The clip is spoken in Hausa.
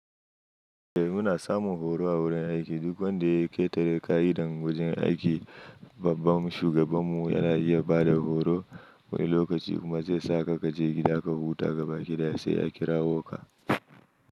Eh muna samun horo a wurin aiki. Duk wanda ya ƙetare ƙa'idan wajen aiki, babban shugaban mu yana iya bada horo wani lokaci kuma zai sa ka kaje gida ka huta gabaki ɗaya sai ya kirawo ka.